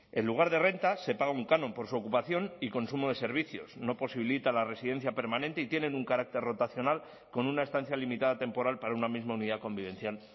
en lugar de renta se paga un canon por su ocupación y consumo de servicios no posibilita la residencia permanente y tienen un carácter rotacional con una estancia limitada temporal para una misma unidad convivencial